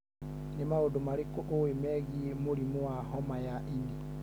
Nĩ maũndũ marĩkũ ũĩ megiĩ mũrimũ wa homa ya ini?